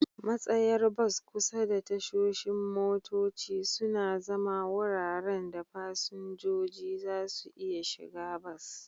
Matsayar bas kusa da tashoshin motoci suna zama wuraren da fasinjoji za su iya shiga bas.